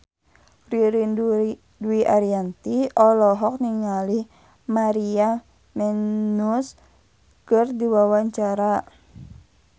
Ririn Dwi Ariyanti olohok ningali Maria Menounos keur diwawancara